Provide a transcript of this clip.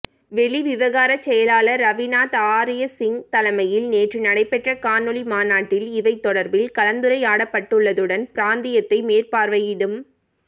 வெளிவிவகார செயலாளர் ரவிநாத் ஆரியசிங்க தலைமையில் நேற்று நடைபெற்ற காணொளி மாநாட்டில் இவை தொடர்பில் கலந்துரையாடப்பட்டுள்ளதுடன் பிராந்தியத்தை மேற்பார்வையிடும்